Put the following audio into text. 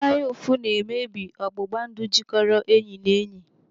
Anya ụfụ na-emebi ọgbụgba ndụ jikoro enyi na enyi.